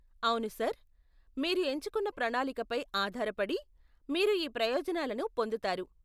అవును సర్, మీరు ఎంచుకున్న ప్రణాళికపై ఆధారపడి, మీరు ఈ ప్రయోజనాలను పొందుతారు.